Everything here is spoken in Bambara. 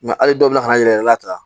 hali dɔw bɛ ka n'an yɛrɛ yɛlɛla ta